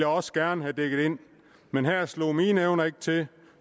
også gerne have dækket men her slog mine evner ikke til